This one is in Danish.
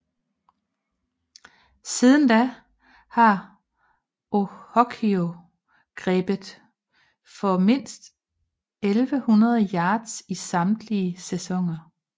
Siden da har Ochocinco grebet for mindst 1100 yards i samtlige sæsoner